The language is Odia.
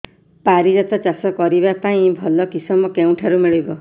ପାରିଜାତ ଚାଷ କରିବା ପାଇଁ ଭଲ କିଶମ କେଉଁଠାରୁ ମିଳିବ